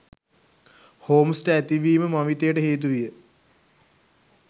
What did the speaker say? හෝම්ස්ට ඇතිවීම මවිතයට හේතුවිය